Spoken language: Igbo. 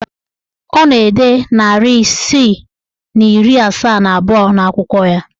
Ọ na-ede narị isii na iri asaa na abụọ n'akwụkwọ ya.